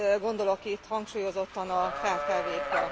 Gondolok itt hangsúlyozottan a kkv kra.